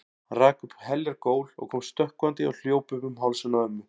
Hann rak upp heljar gól og kom stökkvandi og hljóp upp um hálsinn á ömmu.